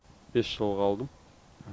бес жылға алдым